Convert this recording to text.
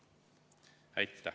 Aitäh!